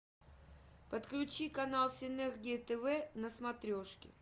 подключи канал синергия тв на смотрешке